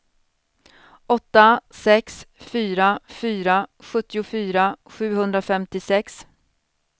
åtta sex fyra fyra sjuttiofyra sjuhundrafemtiosex